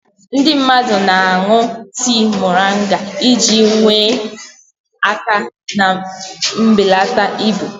Ndị mmadụ na-aṅụ tii moringa iji nyere aka na mbelata ibu.